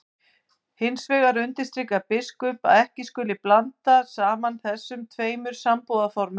Hvers vegna heitir Barnafoss í Hvítá þessu nafni?